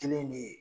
Kelen de ye